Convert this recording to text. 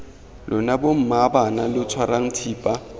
lona bommaabana lo tshwarang thipa